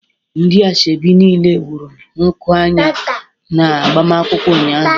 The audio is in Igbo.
Ndi ashebi nile wuru nku anya na agbamakwụkwọ ụnyaahụ